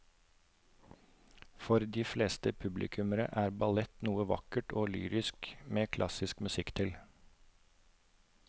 For de fleste publikummere er ballett noe vakkert og lyrisk med klassisk musikk til.